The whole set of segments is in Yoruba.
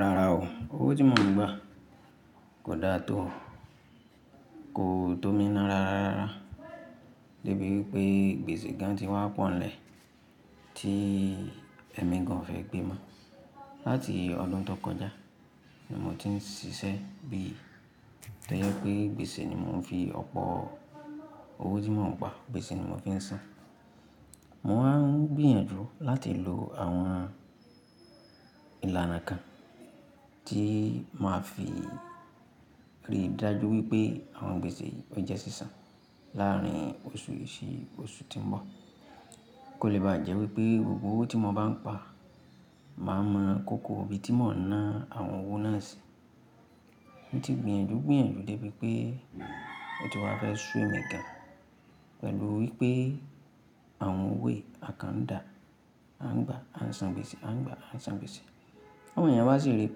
Rárá o, owó tí mo n gbà kò da tó, kò tómíná rárá debí wipé gbèsè gan ti wá pọ̀nlẹ̀ tí ẹ̀mí gan fẹ́ gbé mọ́. Látí ọdún tó kọjá ni mo ti ń siṣẹ́ bí tojẹ́ pé gbèsè ni mò ń fi ọ̀pọ̀ owó tí mò ń gbà, gbèsè ni mò ń fi ń san. Mo ma ń gbìyànjú láti lo àwọn ìlànà kan tí màá fi rí i dájú wípé àwọn gbèsè yìí o jẹ́ sísan láàrin oṣù yìí sí oṣù tí ń bọ̀. Kò lè bá jẹ́ wípé gbogbo owó tí mo bá ń pa màá mọ̀ kóko ibi tí mò ń ná àwọn owó náà sí. Mo ti n gbìyànjú gbìyànjú débi pé o ti wá fẹ́ sún emi gan pẹ̀lú wípé àwọn owó è a kan ń dà, a ń gbà a ń san gbèsè, a ń gbà a ń san gbèsè. Àwọn ènìyàn wá sì rí i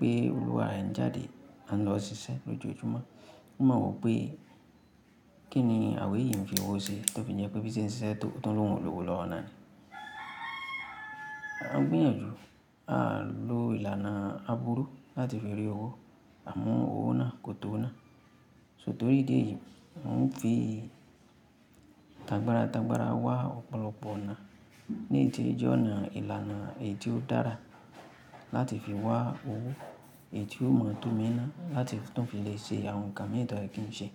pé olúwa rẹ n jáde á ń lọ ṣiṣẹ́ lójoojúmọ́, wọ́n ma wo pé kí ni àwe yí ń fi owó ṣe tó fi jẹ́ pé bíse ń ṣiṣẹ́ tó tó ń lòwó lọ́ọ́nà ni. A n gbìyànjú Aa lo ìlànà àbúrú láti fi rí owó àmọ́ owó náà kò tóọ̀ nà. Só torí ìdí èyí, mò ń fi tàgbàra tàgbàra wá ọ̀pọ̀lọpọ̀ ọ̀nà ní ti ìjọ náà, ìlànà èyí tí ó dára láti fi wá owó èyí tí ó mọ̀ tómíná láti tún fi lè ṣe àwọn nǹkan mii to ye kí ń ṣe.